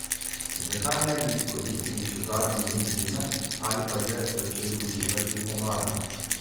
Zakaj ne bi izkoristili še zadnje dni zime ali pa že začeli uživati v pomladi?